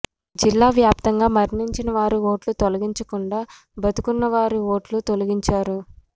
జిల్లా వ్యాప్తంగా మరణించిన వారు ఓట్లు తొలగించకుండా బతికున్న వారి ఓట్లు తొలగించారు